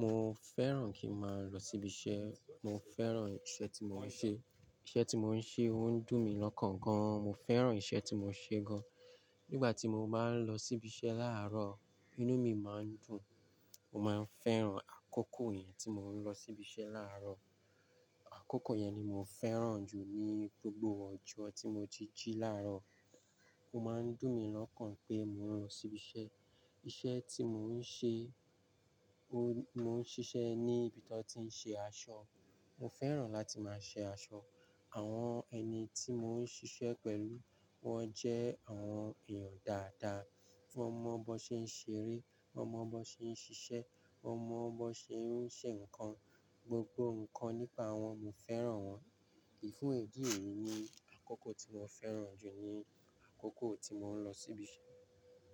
Mo fẹ́ràn kí máa lọ síbi iṣẹ́, mo fẹ́ràn iṣẹ́ tí mo ń ṣe. Iṣẹ́ tí mo ń ṣe ó ń dùn mí lọ́kàn gan. Mo fẹ́ràn iṣẹ́ tí mo ń ṣe gan. Nígbà tí mo bá ń lọ síbi iṣẹ́ láàárọ̀, inú mi máa ń dùn. Mo máa ń fẹ́ràn àkókò yẹn tí mo ń lọ síbi iṣẹ́ láàárọ̀. Àkókò yẹn ni mo fẹ́ràn jù ní gbogbo ọjọ́ tí mo jíjí láàárọ̀. Ó máa ń dùn mí lọ́kàn pé mò ń lọ síbi iṣẹ́. Iṣẹ́ tí mo ń ṣe, mo mo ń ṣiṣẹ́ ní ibi tó ti ń ṣe aṣọ. Mo fẹ́ràn láti máa ṣe aṣọ. Àwọn ẹni tí mo ń ṣiṣẹ́ pẹ̀lú wọ́n jẹ́ àwọn èèyàn dáadáa. Wọ́n mọ bó ṣe ń ṣeré, wọ́n mọ bó ṣe ń ṣiṣẹ́, wọ́n mọ bó ṣe ń ṣe nǹkan. Gbogbo nǹkan nípa wọn, mo fẹ́ràn wọ́n. Fún èdè eyi ni àkókò tí mo fẹ́ràn jù ni àkókò tí mo ń lọ síbi iṣẹ́.